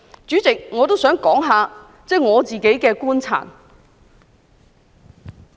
主席，我也想談談我的觀察。